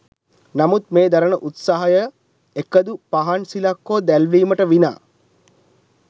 නමුත් මේ දරන උත්සාහයය එකදු පහන් සිලක් හෝ දැල්වීමට විනා